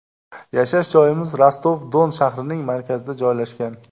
Yashash joyimiz Rostov-Don shahrining markazida joylashgan.